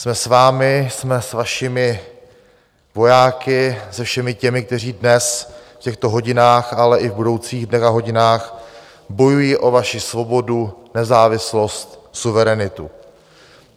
Jsme s vámi, jsme s vašimi vojáky, se všemi těmi, kteří dnes v těchto hodinách, ale i v budoucích dnech a hodinách bojují o vaši svobodu, nezávislost, suverenitu.